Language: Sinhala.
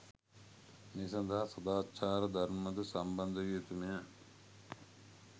මේ සඳහා සදාචාර ධර්ම ද සම්බන්ධ විය යුතුමය.